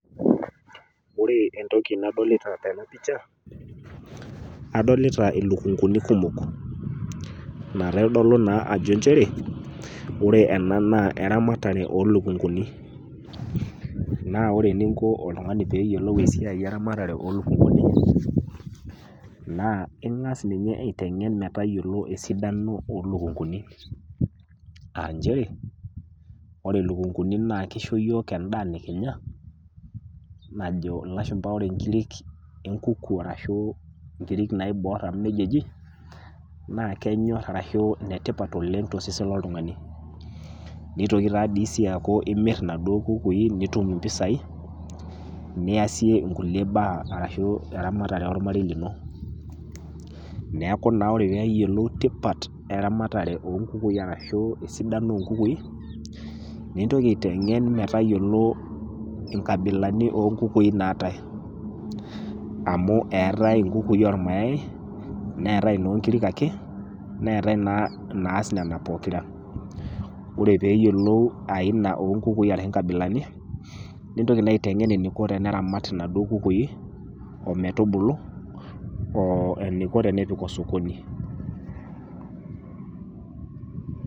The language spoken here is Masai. Ore entoki nadolita tena pisha, adolita ilukunguni kumok, naitodolu naa nchere, ore ena naa eramatare oo ilukunguni. Naa ore eninko oltung'ani pee eyiolou eramatare oo ilukunguni, naa ing'as ninye aiteng'en ninye matayiolo esidano o ilukunguni, a nchere ore ilukunguni naa keisho iyiok endaa nekinya, najo ilashumba ore inkirik e elukungu ashu inkiri naiboor amu neija eji, naa kenyor ashu ene tipat oleng' tosesen loltung'ani. Neitoki sii duo aaku imir inaduo kukui nitum impisai, niasie inkulie baa ashu eramatare olmarei lino, neaku naa ore pee eyiolou tipat eramatare oo ilukunguni ashu esidano o nkukui, nintoki aiteng'en metayiolou inkabilani o nkukui naatai, amu eatai inkukui o ilmayai, neatai inoonkirk ake, neatai naa inaas Nena pokira, ore pee eyiolou aina ashu inkabilani, nintoki naa aitamok eneiko pee eramat naduo kukui, ometubulu, o eneiko pee epik sokoni.